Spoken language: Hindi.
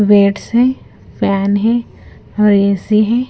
वेट्स है पैन है है।